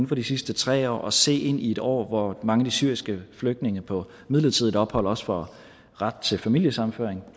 for de sidste tre år at se ind i et år hvor mange syriske flygtninge på midlertidigt ophold også får ret til familiesammenføring